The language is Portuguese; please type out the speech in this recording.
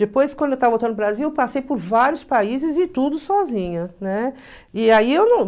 Depois, quando eu estava voltando para o Brasil, eu passei por vários países e tudo sozinha, né? E aí, eu não